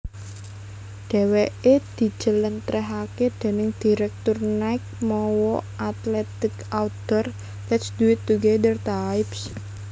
Dheweke dijelentrehake déning direktur Nike mawa athletic outdoor lets do it together types